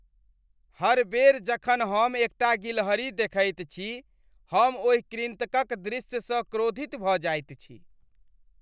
हर बेर जखन हम एकटा गिलहरी देखैत छी, हम ओहि कृन्तकक दृश्यसँ क्रोधित भऽ जाइत छी।